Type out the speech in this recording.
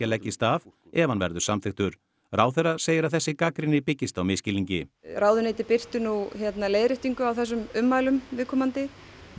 leggist af ef hann verður samþykktur ráðherra segir að þessi gagnrýni byggist á misskilningi ráðuneytið birti leiðréttingu á þessum ummælum viðkomandi